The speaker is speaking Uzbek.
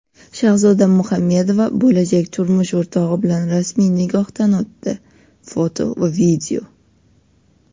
Shahzoda Muhammedova bo‘lajak turmush o‘rtog‘i bilan rasmiy nikohdan o‘tdi (foto va video).